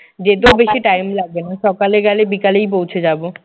যেতেও বেশি time লাগবে না। সকালে গেলে বিকালেই পৌঁছে যাব।